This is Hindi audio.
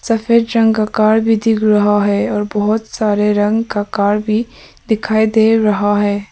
सफेद रंग का कार दिख रहा है और बहुत सारे रंग का कार भी दिखाई दे रहा है।